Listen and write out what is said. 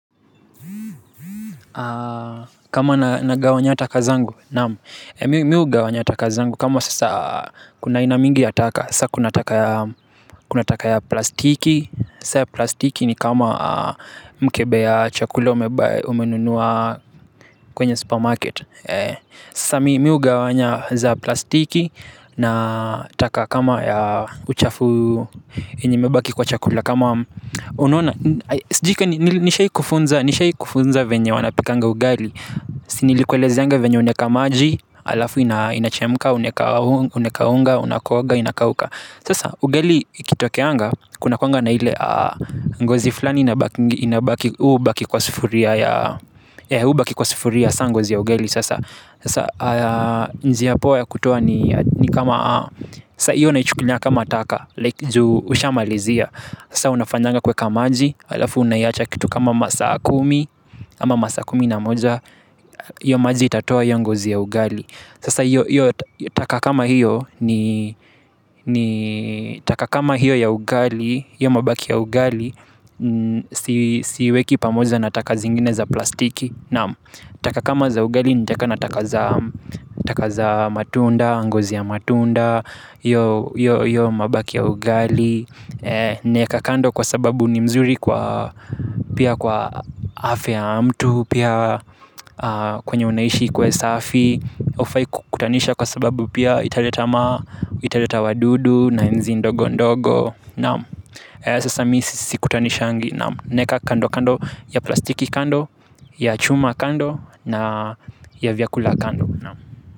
Kama nagawanya taka zangu naam. Mi hugawanya taka zangu. Kama sasa kuna aina mingi ya taka. Sasa kuna taka ya kuna taka ya plastiki. Sasa ya plastiki ni kama mkebe ya chakula umebuy umenunua kwenye supermarket. Sasa mi hugawanya za plastiki. Na taka kama ya uchafu yenye imebaki kwa chakula. Kama unaona. Sijui kama nishai kufunza. Nishai kufunza vyenye wanapikanga ugali. Si nilikuelezeanga vyenye unaweka maji halafu ina inachemka. Unaweka unga. Unakooga inakauka. Sasa ugali ikitokeanga. Kunakuwanga na ile ngozi flani inabakingi. Inabaki hubaki kwa sufuria ya hubaki kwa sufuria sa ngozi ya ugali sasa. Sasa njia poa ya kutoa ni kama sasa hiyo naichukulia kama taka like juu ushamalizia sasa unafanyanga kuweka maji halafu unaiwacha kitu kama masaa kumi ama masaa kumi na moja. Hiyo maji itatoa hiyo ngozi ya ugali. Sasa hiyo taka kama hiyo ni taka kama hiyo ya ugali hiyo mabaki ya ugali si siiweki pamoja na taka zingine za plastiki naam taka kama za ugali nitaweka na taka za taka za matunda. Ngozi ya matunda hiyo hiyo hiyo mabaki ya ugali naweka kando kwa sababu ni mzuri kwa pia kwa afya ya mtu pia kwenye unaishi kuwe safi hufai kukutanisha kwa sababu pia italeta ma, italeta wadudu na nzi ndogo ndogo naam. Sasa mi sikutanishangi naam naweka kando kando ya plastiki kando, ya chuma kando na ya vyakula kando naam.